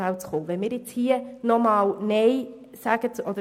Das Ziel wäre es, ins Mittelfeld zu gelangen.